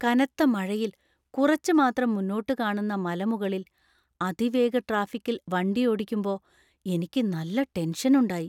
കനത്ത മഴയിൽ കുറച്ച് മാത്രം മുന്നോട്ടു കാണുന്ന മലമുകളിൽ അതിവേഗ ട്രാഫിക്കിൽ വണ്ടിയോടിക്കുമ്പോ എനിക്ക് നല്ല ടെൻഷനുണ്ടായി.